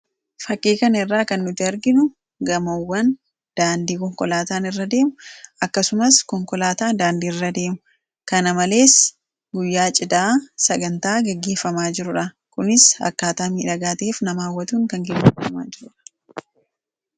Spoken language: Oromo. fakiikan irraa kan nuti arginu gamoowwan daandii konkolaataan irradeemu akkasumas konkolaataa daandii irra deemu kana malees guyyaa cidaa sagantaa gaggiiffamaa jirudha kunis akkaataa miidhagaatief namaawwatuun kan giffaamaa jirura